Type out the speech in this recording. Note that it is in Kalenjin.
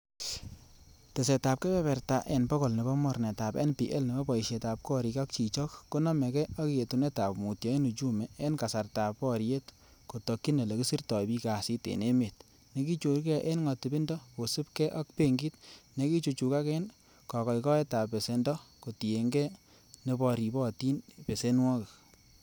Tesetab kebeberta en bogol nebo Mornetab NPL,nebo boisietab gorik ak chichok ko nomege ak yetunetab mutyo en uchumi en kasartab boriet kotokyin ele kisirto bik kasit en emet, nekichorge en ngotipindo kosiibge ak benkit nekichuchugak en gogoitoetab besendon kotienge neboribotin besenwogik.